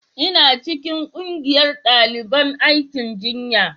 ina cikin ƙungiyar daliban aikin jinya